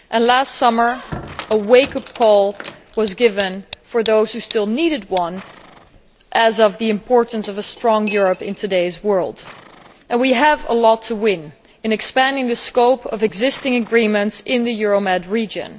Last summer a wake up call was given, for those who still needed one, as to the importance of a strong Europe in today's world. We have a lot to win by expanding the scope of existing agreements in the Euromed region.